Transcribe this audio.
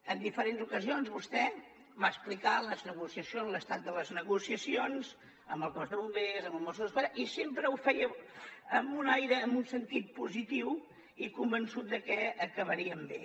en diferents ocasions vostè va explicar les negociacions l’estat de les negociacions amb el cos de bombers amb els mossos d’esquadra i sempre ho feia amb un aire en un sentit positiu i convençut de que acabarien bé